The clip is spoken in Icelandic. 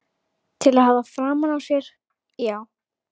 Til að hafa framan á sér, já.